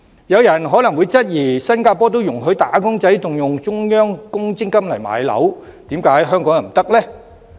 有人可能會質疑，既然新加坡也容許"打工仔"動用中央公積金置業，為何香港人不可以？